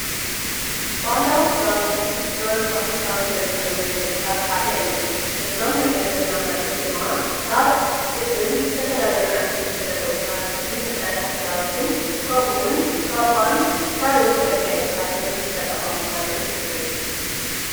ባህላዊ ክዳዉንቲ ጥበብን ንባህልን ካብ እንገልፀሎም መንገዲ ሓደ እዮም። እዞም እንሪኦም ዘለና መርዑት ድማ ካብ ጡጥን ዝተፈላለዩ ዓይነት ሕብሪ ዘለዎም ሃርታትን ዝተሰረሐ ክዳውንትን ከምኡ እውን ካባን ካልኦት መጋየፂታትን ዝተጠቀሙ መርዑት ንርኢ።